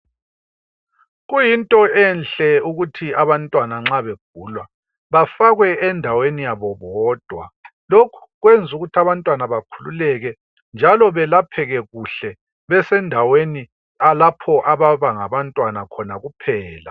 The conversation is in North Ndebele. Kuyinto enhle ukuthi abantwana nxa begula bafakwe endaweni yabo bodwa, lokhu kwenzu ukuthi abantwana bakhululeke njalo belapheke kuhle besendaweni lapho aba ngabantwana kuphela.